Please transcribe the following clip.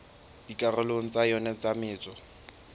dikarolong tsa yona tsa metso